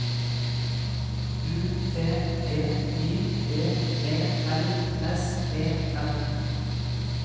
U T G I V E L S E N